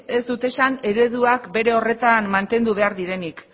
ez dut esan ereduak bere horretan mantendu behar direnik